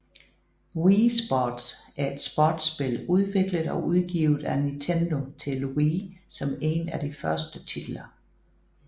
Wii Sports er et sportsspil udviklet og udgivet af Nintendo til Wii som en af de første titler